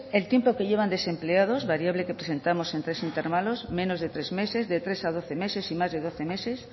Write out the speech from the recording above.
el tiempo que llevan desempleados variable que presentamos en tres intervalos menos de tres meses de tres a doce meses y más de doce meses